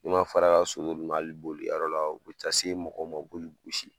N'u ma fara ka so hali bolikɛyɔrɔ la u be taa se mɔgɔw ma u b'oli gosi.